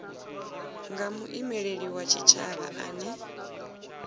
nga muimeli wa tshitshavha ane